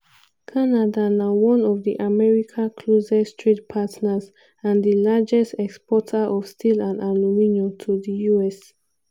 canada na one of america closest trade partners and di largest exporter of steel and aluminium to di us.